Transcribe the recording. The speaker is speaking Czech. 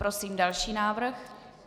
Prosím další návrh.